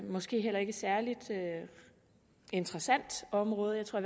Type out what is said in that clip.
måske heller ikke særlig interessant område jeg tror